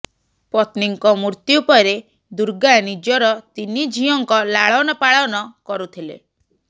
ପତ୍ନୀଙ୍କ ମୃତ୍ୟୁ ପରେ ଦୁର୍ଗା ନିଜର ତିନି ଝିଅଙ୍କ ଲାଳନ ପାଳନ କରୁଥିଲେ